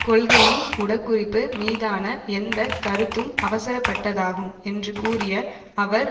கொள்கையின் உடகுறிப்பு மீதான எந்த கருத்தும் அவசரப்பட்டதாகும் என்று கூறிய அவர்